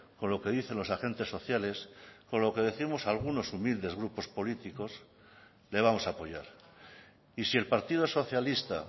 con lo que dicen los agentes sociales o con lo que décimos algunos humildes grupos políticos le vamos a apoyar y si el partido socialista